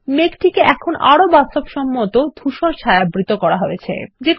মেঘ টিকে এখন আরো বাস্তবসম্মত ধুসর ছায়াবৃত করা হয়েছে160